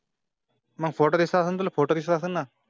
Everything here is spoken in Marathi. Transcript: मग फोटो दिसेल फोटो दिसत असेल ना?